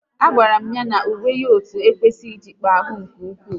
A gwara m ya na uwe otu ekwesịghị ịjikpa ahụ nke ụkwụ